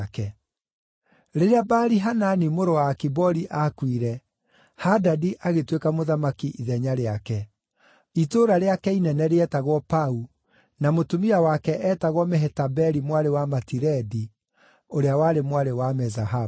Rĩrĩa Baali-Hanani mũrũ wa Akibori aakuire, Hadadi agĩtuĩka mũthamaki ithenya rĩake. Itũũra rĩake inene rĩetagwo Pau, na mũtumia wake eetagwo Mehetabeli mwarĩ wa Matiredi, ũrĩa warĩ mwarĩ wa Mezahabu.